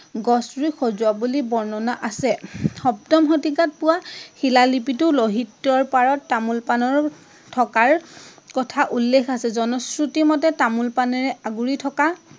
গছ ৰুই সজোৱা বুলি বৰ্ণনা আছে। সপ্তম শতিকাত পোৱা শিলালিপিতো লহিত্যৰ পাৰত তামোল পাণৰ থকাৰ কথা উল্লেখ আছে। জনশ্ৰুতি মতে তামোল পাণেৰে আগুৰি থকাৰ